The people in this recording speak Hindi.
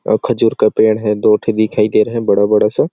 और खजूर का पेड़ है दो ठे दिखाई दे रहा है बड़ा-बड़ा सा--